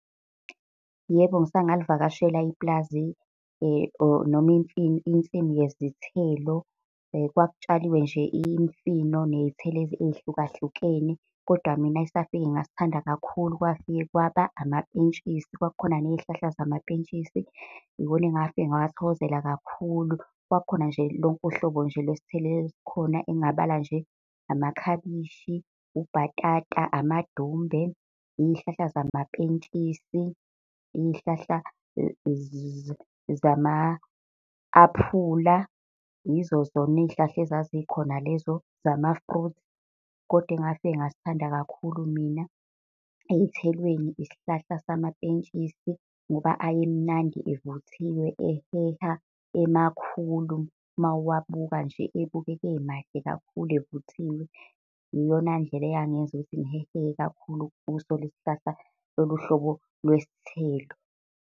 Yebo, ngisake ngalivakashela ipulazi or noma insimu yezithelo. Kwakutshaliwe nje imfino ney'thelo ey'hlukahlukene. Kodwa mina esafike ngasithanda kakhulu, kwafike kwaba amapentshisi, kwakukhona nezihlahla zamapentshisi, iwona engafike ngawathokozela kakhulu. Kwakukhona nje lonke uhlobo nje lwezithelo ezikhona engingabala nje, amakhabishi, ubhatata, amadumbe, iy'hlahla zamapentshisi, iy'hlahla zama-aphula. Izo zona iy'hlahla ezazikhona lezo zama-fruit, koda engafike ngasithanda kakhulu mina, ey'thelweni isihlahla samapentshisi ngoba ayemnandi, evuthiwe, eheha, emakhulu, uma uwabuka nje ebukeka emahle kakhulu evuthiwe. Iyona ndlela eyangenza ukuthi ngihehe kakhulu kuso lesisihlahla, lolu hlobo lwesithelo.